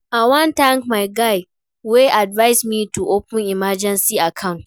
I wan thank my guy wey advice me to open emergency account